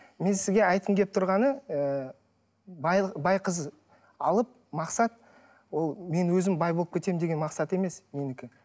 мен сізге айтқым келіп тұрғаны ы бай қыз алып мақсат ол мен өзім бай болып кетемін деген мақсат емес менікі